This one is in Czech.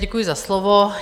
Děkuji za slovo.